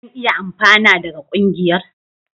Zan iya amfana daga ƙungiyar?